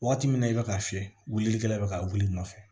Waati min na i bɛ ka fiyɛ wulilikɛla bɛ ka wuli i nɔfɛ